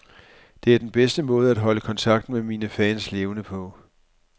Det er den bedste måde at holde kontakten med mine fans levende på.